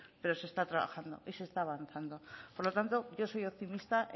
pero se está trabajando y se está avanzando por lo tanto yo soy optimista